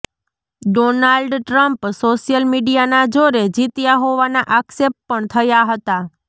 Donald Trump social મીડિયાના જોરે જીત્યા હોવાના આક્ષેપ પણ થયા હતા